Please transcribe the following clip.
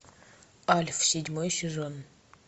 альф седьмой сезон